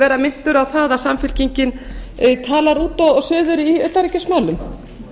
vera minntur á það að samfylkingin talar út og suður í utanríkismálum